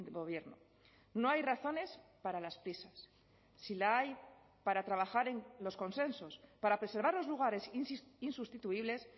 gobierno no hay razones para las prisas si la hay para trabajar en los consensos para preservar los lugares insustituibles